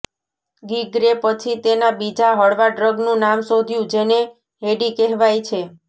ગ્રિગે પછી તેના બીજા હળવા ડ્રગનું નામ શોધ્યું જેને હેડી કહેવાય છે